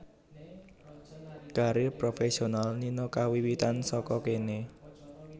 Karir profésional Nina kawiwitan saka kéné